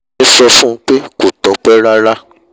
èmi sọ fún un pé kò tọ́pẹ́ rárá